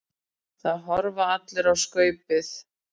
Það horfa allir á Skaupið.